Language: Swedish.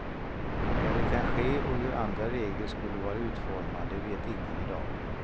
När det kan ske och hur andra regler skulle vara utformade vet ingen i dag.